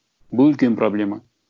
бұл үлкен проблема